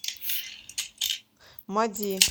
мади